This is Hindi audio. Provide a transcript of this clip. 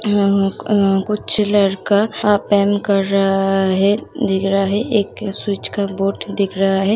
आ आ कुछ लड़का पेंट कर रहा है दिख रहा है एक स्वीच का बोर्ड दिख रहा है।